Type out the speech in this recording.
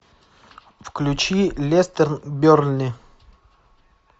включи лестер бернли